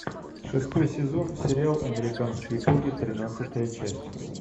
шестой сезон сериал американские боги тринадцатая часть